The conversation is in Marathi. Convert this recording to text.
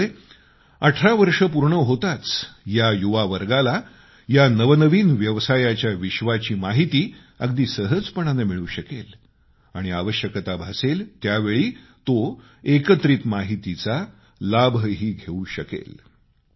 त्यामुळे 18 वर्षे होताच युवावर्गाला या नवनवीन व्यवसायाच्या विश्वाची माहिती अगदी सहजपणानं मिळू शकेल आणि आवश्यकता भासेल त्यावेळी तो एकत्रित माहितीचा लाभही घेवू शकेल